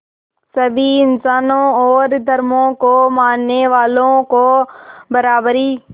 सभी इंसानों और धर्मों को मानने वालों को बराबरी